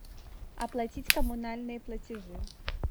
оплатить коммунальные платежи